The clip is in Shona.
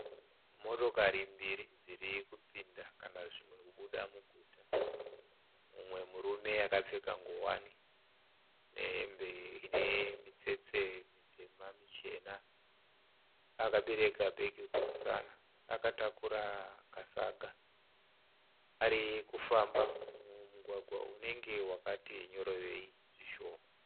Motokari mbiri dziri kupinda kana zvimwe kubuda muguta. Mumwe murume akapfeka ngowani nehembe ine mitsetse mitema michena abereka bhegi kumusana akatakura kasaga. Arikufamba mugwagwa unenge wakati nyorovei zvishoma.